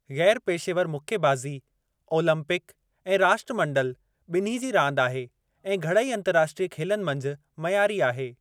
ग़ैर पेशेवरु मुक्केबाज़ी ओलंपिक ऐं राष्ट्रमंडल ॿिन्ही जी रांदि आहे ऐं घणई अंतरराष्ट्रीय खेलनि मंझि मयारी आहे।